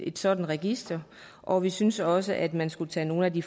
et sådant register og vi synes også at man skal tage nogle af de